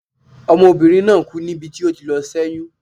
Ọmọbinrin naa ku nibi ti o ti lọ sé̩yún